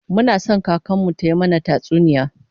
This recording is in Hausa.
Muna son kakar mu tayi mana tatsuniya